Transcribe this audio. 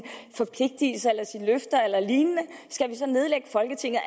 løfter eller lignende skal vi så nedlægge folketinget